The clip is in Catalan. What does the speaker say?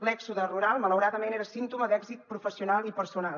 l’èxode rural malaurada·ment era símptoma d’èxit professional i personal